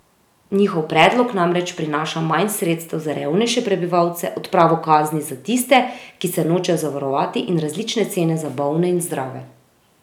Njihov predlog namreč prinaša manj sredstev za revnejše prebivalce, odpravo kazni za tiste, ki se nočejo zavarovati, in različne cene za bolne in zdrave.